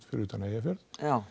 fyrir utan Eyjafjörð